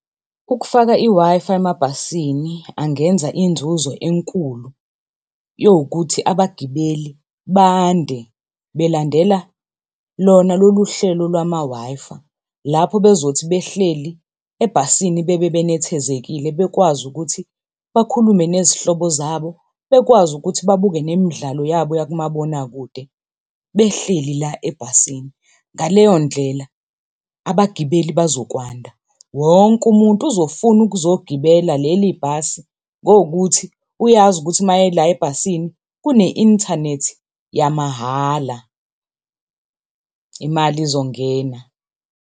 Ukufaka i-Wi-Fi emabhasini angenza inzuzo enkulu yowukuthi abagibeli bande, belandela lona lolu hlelo lwama Wi-Fi lapho bezothi behleli ebhasini bebe benethezekile bekwazi ukuthi bakhulume nezihlobo zabo, bekwazi ukuthi bebuke nemidlalo yabo kumabonakude behleli la ebhasini. Ngaleyo ndlela abagibeli bazokwanda, wonke umuntu uzofuna ukuzogibela leli bhasi ngowukuthi uyazi ukuthi mayela ebhasini kune-inthanethi yamahhala. Imali izongena.